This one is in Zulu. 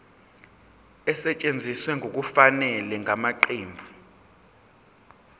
esetshenziswe ngokungafanele ngamaqembu